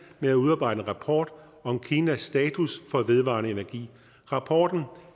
med at udarbejde en rapport om kinas status for vedvarende energi rapporten